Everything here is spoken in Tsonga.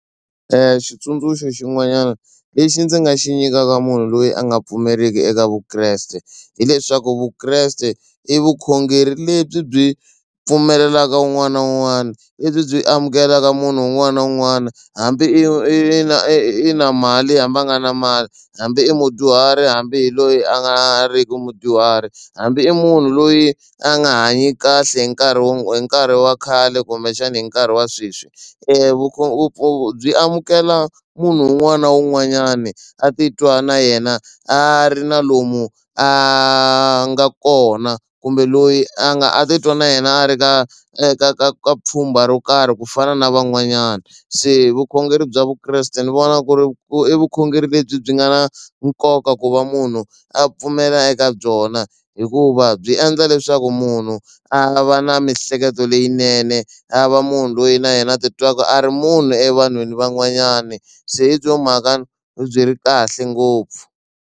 Xitsundzuxo xin'wanyana lexi ndzi nga xi nyikaka munhu loyi a nga pfumeriki eka vukreste hileswaku vukreste i vukhongeri lebyi byi pfumelelaka un'wana na un'wana lebyi byi amukelaka munhu un'wana na un'wana hambi i na i na mali hambi a nga na mali hambi i mudyuhari hambi loyi a nga riki mudyuhari hambi i munhu loyi a nga hanyi kahle hi nkarhi wo hi nkarhi wa khale kumbexana hi nkarhi wa sweswi amukela munhu un'wana na un'wanyana a titwa na yena a ri na lomu a nga kona kumbe loyi a nga a titwa na yena a ri ka ka ka ka pfhumba ro karhi ku fana na van'wanyana se vukhongeri bya vukreste ni vona ku ri i vukhongeri lebyi byi nga na nkoka ku va munhu a pfumela eka byona hikuva byi endla leswaku munhu a va na miehleketo leyinene a va munhu loyi na yena a ti twaka a ri munhu evanhwini van'wanyani se byo mhaka byi ri kahle ngopfu.